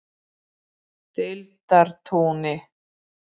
Deildartúni